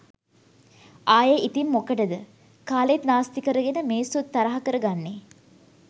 ආයේ ඉතිං මොකටද කාලෙත් නාස්ති කරගෙන මිනිස්සුත් තරහා කර ගන්නේ